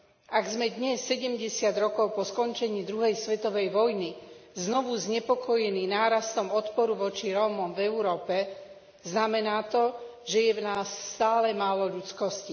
Ak sme dnes sedemdesiat rokov po skončení druhej svetovej vojny znovu znepokojení nárastom odporu voči Rómom v Európe, znamená to, že je v nás stále málo ľudskosti.